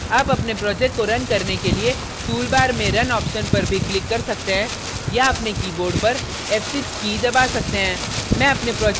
आप अपने project को रन करने के लिए toolbar में run option पर भी click कर सकते हैं या अपने keyboard पर f6 की दबा सकते हैं